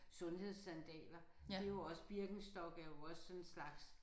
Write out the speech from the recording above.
Sundhedssandaler det er jo også Birkenstock er jo også sådan en slags